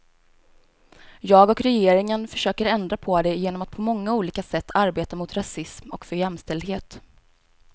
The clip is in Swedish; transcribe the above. Jag och regeringen försöker ändra på det genom att på många olika sätt arbeta mot rasism och för jämställdhet.